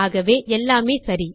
ஆகவே எல்லாமே சரி